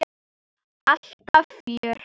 Alltaf fjör.